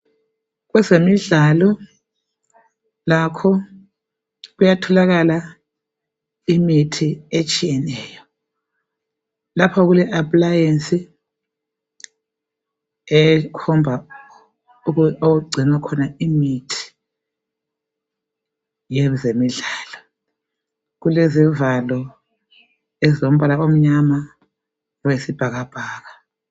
Kwezemidlalo lakho kuyatholakala imithi etshiyeneyo. Lapha kule aphlayensi ekhomba okugcinwa khona imithi yezemidlalo. Kulezivalo ezilombala omnyama okwesibhakabhaka.